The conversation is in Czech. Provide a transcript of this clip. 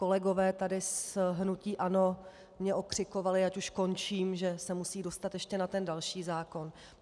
Kolegové tady z hnutí ANO mě okřikovali, ať už končím, že se musí dostat ještě na ten další zákon.